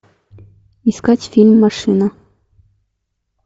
искать фильм машина